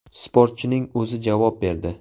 Sportchining o‘zi javob berdi.